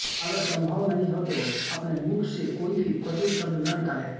अगर संभव नहीं हो तो अपने मुख से कोई भी कटु शब्द न निकालें